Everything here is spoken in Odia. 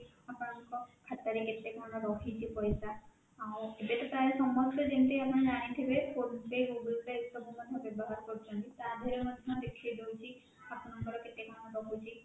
ଆପଣଙ୍କ ଖାତା ରେ କେତେ କଣ ରହିଛି ପଇସା ଆଉ ଏବେ ତ ପ୍ରାୟ ସମସ୍ତେ ଯେମିତି ଆପଣ ଜାଣିଥିବେ phone pay goggle pay ବ୍ୟବହାରରେ କରୁଛନ୍ତି ତା ଦେହ ରେ ମଧ୍ୟ ଦେଖେଇଦେଉଛି ଆପଣଙ୍କର କେତେ କଣ ରହୁଛି